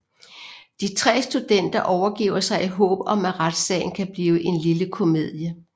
De tre studenter overgiver sig i håb om at retsagen kan blive en lille komedie